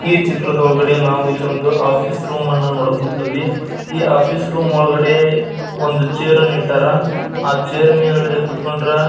ಈ ಚಿತ್ರದೊಳಗಡೆ ನಾವು ಇಲ್ಲೊಂದ್ ಆಫೀಸ್ ರೂಮನ್ನು ನೋಡಕ್ ಹೊಂಟಿವಿ ಈ ಆಫೀಸ್ ರೂಮನ್ನು ಒಳಗಡೆ ಒಂದು ಚೇರ್ ಅನ್ನ ಇಟ್ಟರ ಆಹ್ಹ್ ಚೇರ್ ಮೇಳಗಡೆ ಕುತ್ಕೊಂಡ್ರ --